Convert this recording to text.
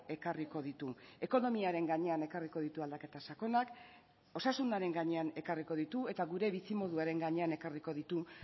ekarriko ditu ekonomiaren gainean ekarriko ditu aldaketa sakonak osasunaren gainean ekarriko ditu eta gure bizimoduaren gainean ekarriko ditu